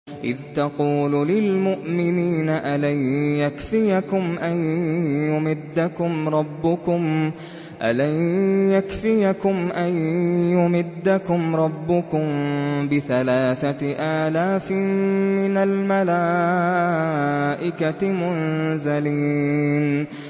إِذْ تَقُولُ لِلْمُؤْمِنِينَ أَلَن يَكْفِيَكُمْ أَن يُمِدَّكُمْ رَبُّكُم بِثَلَاثَةِ آلَافٍ مِّنَ الْمَلَائِكَةِ مُنزَلِينَ